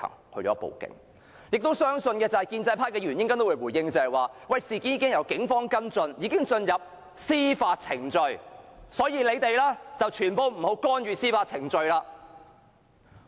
我亦相信建制派議員稍後也會回應，指事件已交由警方跟進，進入司法程序，所以我們不要干預司法程序。